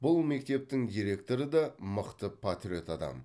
бұл мектептің директоры да мықты патриот адам